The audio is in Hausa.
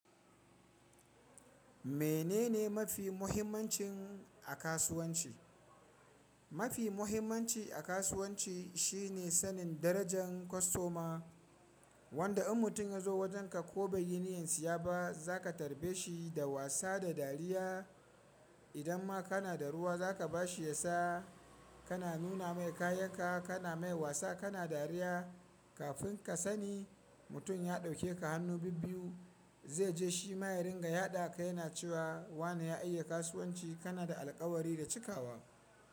Menene mafi muhimmancin a kasuwanci? Mafi muhimmanci a kasuwanci shine sanin darajan kostoma. Wanda in mutum yazo wajenka ko baiyi niyyar siya ba, zaka tarbe shi da wasa da dariya. Idan ma kana da ruwa zaka bashi ya sha. Kana nuna mai kayan ka, kana mai wasa, kana dariya. Kafin ka sani, mutum ya dauke ka hannu bibbiyu. Zaije shima ya ringa yada ka yana cewa wane ya iya kasuwanci. Kanada alkawari da cikawa.